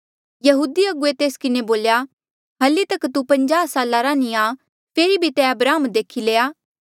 यहूदी अगुवे तेस किन्हें बोल्या हल्ली तक तू पंज्याह साला रा नी आ फेरी भी तैं अब्राहम देखी लया